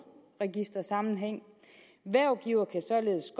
register sammenhæng hvervgiver kan således